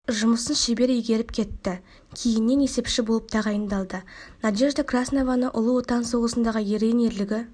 жұмысын шебер игеріп кеті кейіннен есепші болып тағайындалды надежда краснованы ұлы отан соғысындағы ерен ерлігі